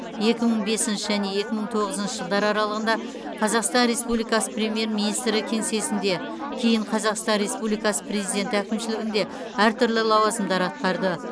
екі мың бесінші және екі мың тоғызыншы жылдар аралығында қазақстан республикасы премьер министрі кеңсесінде кейін қазақстан республикасы президенті әкімшілігінде әртүрлі лауазымдар атқарды